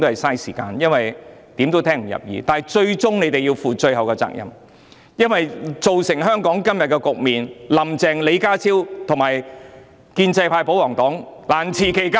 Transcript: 可是，他們最終要負上責任，因為造成香港今日的局面，"林鄭"、李家超、建制派及保皇黨皆難辭其咎。